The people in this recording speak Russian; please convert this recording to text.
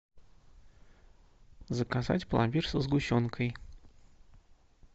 заказать пломбир со сгущенкой